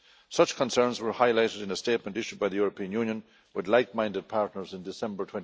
Such concerns were highlighted in a statement issued by the European Union, with like minded partners, in December